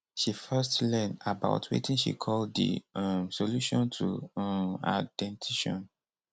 she first learn about wetin she call di um solution to um her dentition